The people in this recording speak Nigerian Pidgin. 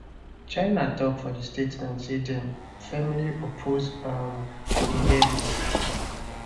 china tok for statement say dem firmly oppose um di levies